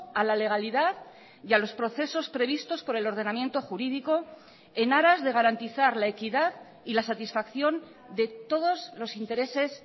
a la legalidad y a los procesos previstos por el ordenamiento jurídico en aras de garantizar la equidad y la satisfacción de todos los intereses